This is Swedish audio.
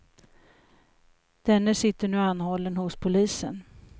Denne sitter nu anhållen hos polisen.